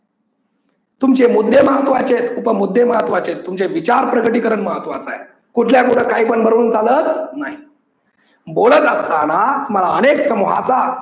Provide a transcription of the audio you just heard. तुमचे मुद्दे महत्वाचे आहेत, उप मुद्दे महत्वाचे आहेत, तुमचे विचार प्रगटीकरण महत्वाच आहे. कुठल्या कुठ काही पण बरडून चालत नाही बोलत असतांना तुम्हाला अनेक समुहाचा